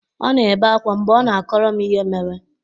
Ọ na-ebe akwa mgbe ọ na-akọrọ m ihe mere.